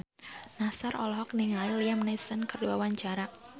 Nassar olohok ningali Liam Neeson keur diwawancara